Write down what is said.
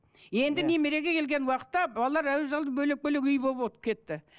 енді немереге келген уақытта балалар бөлек бөлек үй болып кетті